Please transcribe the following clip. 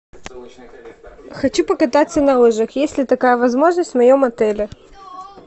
хочу покататься на лыжах есть ли такая возможность в моем отеле